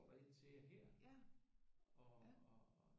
Der et til jer her og øh